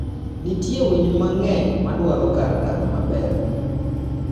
Nitie winy mang'eny madwaro kar dak maber.